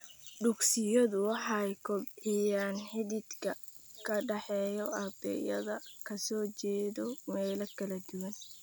Dugsiyadu waxay kobciyaan xidhiidhka ka dhexeeya ardayda ka soo jeeda meelo kala duwan.